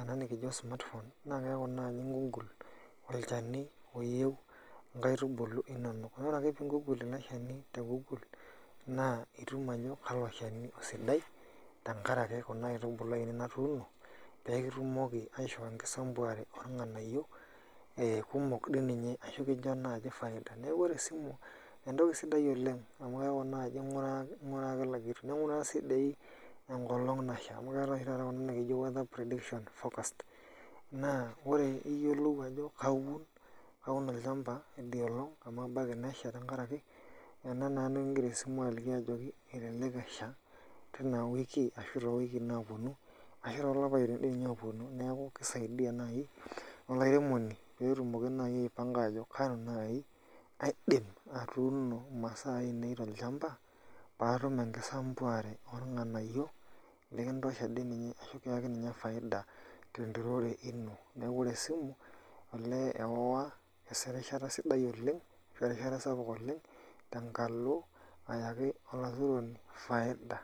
ena nikijo smartphone na keeku naji i Google olchani oyieu inkaitubulu inonok. Nore ake pi Google ele shani te Google, naa itum ajo kalo shani osidai, tenkaraki kuna aitubulu ainei natuuno pekitumoki aisho enkisambuare orng'anayio kumok dininye ashu kincho naji faida. Neeku ore esimu entoki sidai oleng amu keeku naji ing'uraa kila kitu. Ning'uraa si doi enkolong nasha. Amu keetae oshi taata kuna nikijo weather prediction forecast. Naa ore iyiolou ajo kaun olchamba idia olong amu ebaiki nesha tenkaraki ena naa nikigira esimu aliki ajoki elelek esha tina wiki ashu towikii naponu, ashu tolapaitin tinye oponu. Neeku kisaidia nai olairemoni petumoki nai aipanga ajo kanu nai aidim atuuno imasaa ainei tolchamba, patum enkisambuare orng'anayio likintosha dininye ashu kiaki ninye faida tenturore ino. Neeku ore esimu, olee ewa aisho erishata sidai oleng, ashu erishata sapuk oleng, tenkalo ayaki olaturoni faida.